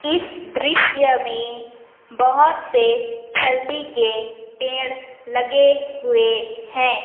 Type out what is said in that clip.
इस दृश्य में बहोत सारे हल्दी के पेड़ लगे हुए हैं।